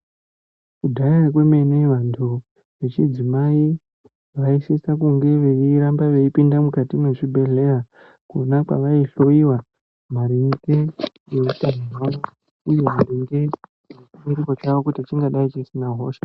Kudhaya kwemene vandu vechidzimai vaisisa kunge veiramba veipinda mukati muzvibhedhlera kona kwavaihloyiwa maringe nehutano hwavo uye maringe nechinhengo chavo kuti chingadai chisina hosha